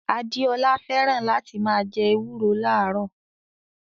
Adeola fẹ́ràn láti máa jẹ ewúro láàárò